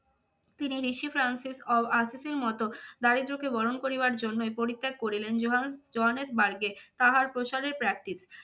তিনি ঋষি দারিদ্রকে বরণ করিবার জন্যেই পরিত্যাগ করিলেন জোহান্স~ জোহানেসবার্গ এ তাহার প্রসারের practice